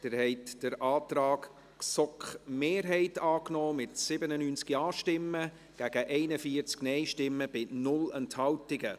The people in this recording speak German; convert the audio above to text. Sie haben den Antrag GSoK-Mehrheit angenommen, mit 97 Ja- gegen 41 Nein-Stimmen bei 0 Enthaltungen.